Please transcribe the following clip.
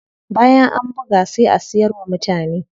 Bayan an buga sai a siyar wa mutane.